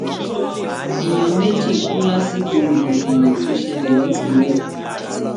èèyàn méjì kú lásìkò rògbòdìyàn tó ṣẹlẹ nìkórè